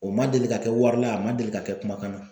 O ma deli ka kɛ wari la a ma deli ka kɛ kumakan na